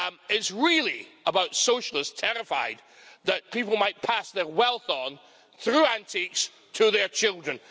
It's really about socialists terrified that people might pass their wealth on, through antiques, to their children.